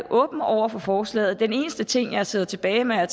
åben over for forslaget den eneste ting jeg sidder tilbage med er at